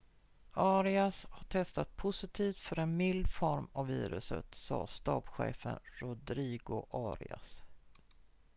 arias har testat positivt för en mild form av viruset sa stabschefen rodrigo arias